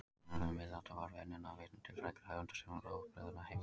Í sagnaritum miðalda var venjan að vitna til frægra höfunda sem óbrigðulla heimilda.